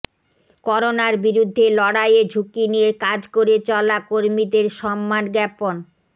করোনার বিরুদ্ধে লড়াইয়ে ঝুঁকি নিয়ে কাজ করে চলা কর্মীদের সম্মান জ্ঞাপন